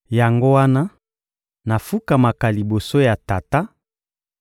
Yango wana nafukamaka liboso ya Tata